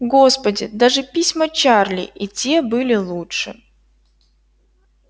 господи даже письма чарли и те были лучше